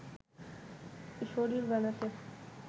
শরীর বানাতে